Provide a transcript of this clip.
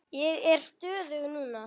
Ég er stöðug núna.